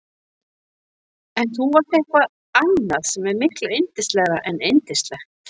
En þú varst eitthvað annað sem er miklu yndislegra en yndislegt.